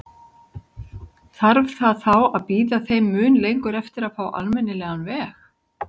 Þarf það þá að bíða þeim mun lengur eftir að fá almennilegan veg?